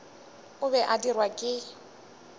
o be a dirwa ke